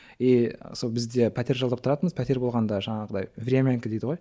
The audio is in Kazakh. и сол бізде пәтер жалдап тұратынбыз пәтер болғанда жаңағындай времянка дейді ғой ммм